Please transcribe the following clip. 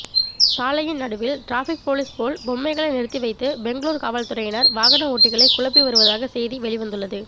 சாலையின் நடுவில் traffic police போல் பொம்மைகளை நிறுத்திவைத்து பெங்களூர் காவல்துறையினர் வாகன ஓட்டிகளை குழப்பி வருவதாக செய்திகள் வெளிவந்துள்ளது